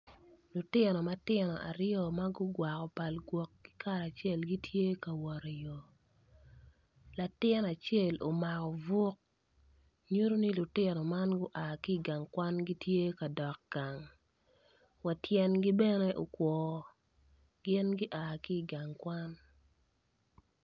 Lutino matino aryo magugwako pal gwok kikaracel gitye ka wot i yor latin acel omako buk nyuto ni lutino man gua ki gang kwan gitye ka dok gang wa tyengi bene okwor gin gia ki gang kwan.